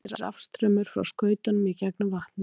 Þá leiðir rafstraumur frá skautunum í gegnum vatnið.